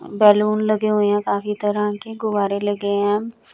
Balloon लगे हुए हैं काफी तरह के गुब्बारे लगे हैं।